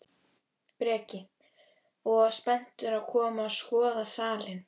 Breki: Og spenntur að koma og skoða salinn?